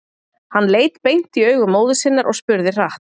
Hann leit beint í augu móður sinnar og spurði hratt: